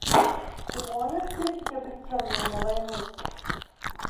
ты можешь включить обреченные на войну